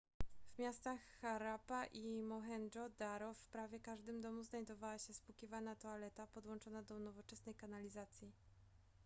w miastach harappa i mohendżo-daro w prawie każdym domu znajdowała się spłukiwana toaleta podłączona do nowoczesnej kanalizacji